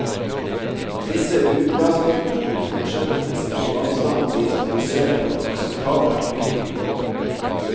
Disse utrasningene vil fortsette hvis ikke vannstanden blir stabilisert på et akseptabelt høyt nivå.